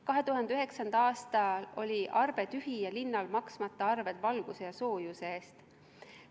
2009. aastal oli eelarve tühi ja linnal maksmata arved valguse ja soojuse eest.